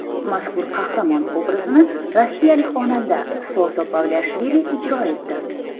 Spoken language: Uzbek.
Mazkur qahramon obrazini rossiyalik xonanda Soso Pavliashvili ijro etdi.